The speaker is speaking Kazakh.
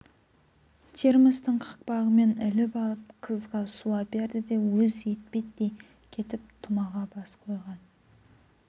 термостың қақпағымен іліп алып қызға су әперді де өз етпеттей кетіп тұмаға бас қойған